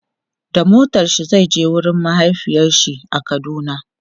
da motarshi Zai je wurin mahaifiyarshi a kaduna